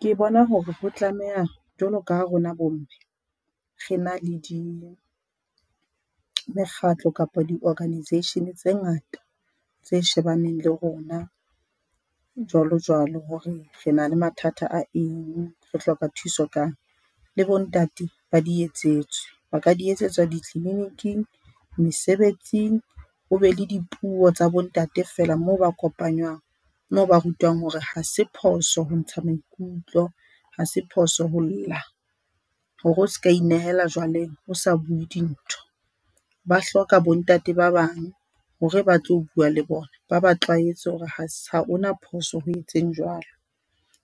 Ke bona hore ho tlameha jwalo ka ha rona bo mme re na le di mekgatlo kapa di-organisation tse ngata tse shebaneng le rona jwalo jwalo hore rena le mathata a eng, re hloka thuso kang. Le bo ntate ba di etsetswe ba ka di etsetswa di tliliniking, mesebetsing ho be le dipuo tsa bo ntate fela moo ba kopanywang moo ba rutwa hore hase phoso ho ntsha maikutlo, hase phoso ho lla hore o ska inehela jwaleng o sa buwe dintho. Ba hloka bo ntate ba bang hore ba tlo buwa le bona ba ba tlwaetse ho re ha ha hona phoso ho etseng jwalo.